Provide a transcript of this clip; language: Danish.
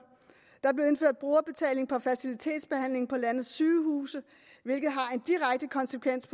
der blev indført brugerbetaling for fertilitetsbehandling på landets sygehuse hvilket har en direkte konsekvens